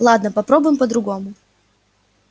ладно попробуем по-другому